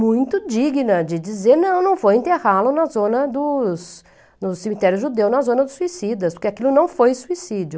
muito digna de dizer, não, não vou enterrá-lo dos no cemitério judeu, na zona dos suicidas, porque aquilo não foi suicídio.